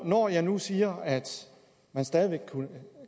når jeg nu siger at man stadig væk